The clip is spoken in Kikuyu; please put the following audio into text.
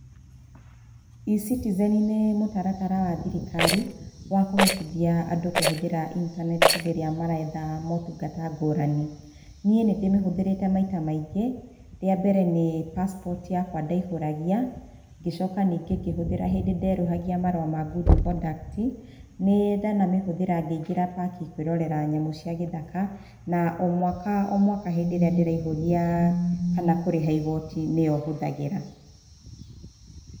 E-Citizen nĩ mũtaratara wa thirikari wa kũhotithia andũ kũhũthĩra internet hĩndĩ ĩrĩa maretha maũtungata ngũrani. Niĩ nĩ ndĩmĩhũthĩrĩte maita maingĩ, rĩa mbere nĩ passport yakwa ndaihũragia. Ngĩcoka ningĩ ngĩhũthĩra hĩndĩ nderũhagia marũa ma good conduct. Nĩ ndana mĩhũthĩra ngĩingĩra paki kũĩrorera nyamũ cia gĩthaka na o mwaka o mwaka hĩndĩ ĩrĩa ndĩraihũria kana kũrĩha igooti, nĩyo hũthagĩra.